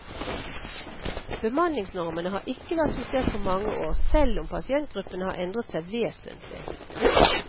Bemanningsnormene har ikke vært justert på mange år, selv om pasientgruppene har endret seg vesentlig.